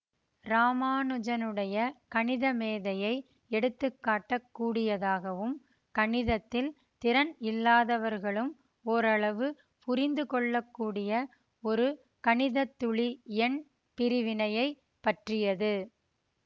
இராமானுஜனுடைய கணித மேதையை எடுத்துக்காட்டக் கூடியதாகவும் கணிதத்தில் திறன் இல்லாதவர்களும் ஓரளவு புரிந்து கொள்ள கூடிய ஒரு கணிதத்துளி எண் பிரிவினையைப் பற்றியது